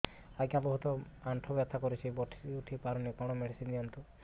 ଆଜ୍ଞା ବହୁତ ଆଣ୍ଠୁ ବଥା କରୁଛି ବସି ଉଠି ପାରୁନି କଣ ମେଡ଼ିସିନ ଦିଅନ୍ତୁ